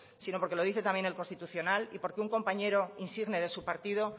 sino porque lo dice también el constitucional y porque un compañero insigne de su partido